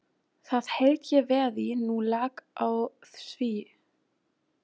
Það held ég verði nú lag á því.